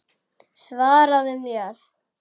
Svaraðu mér!